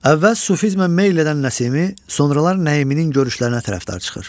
Əvvəl sufizmə meyl edən Nəsimi sonralar Nəiminin görüşlərinə tərəfdar çıxır.